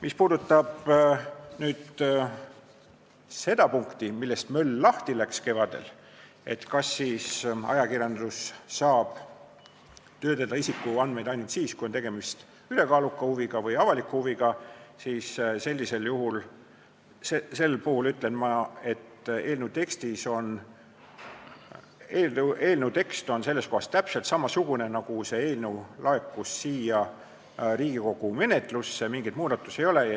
Mis puudutab punkti, millest kevadel möll lahti läks, et kas ajakirjandus saab töödelda isikuandmeid ainult siis, kui on tegemist ülekaaluka huviga või avaliku huviga, siis ma ütlen, et eelnõu tekst on selles kohas täpselt samasugune nagu siis, kui see eelnõu laekus Riigikogu menetlusse, mingeid muudatusi siin ei ole.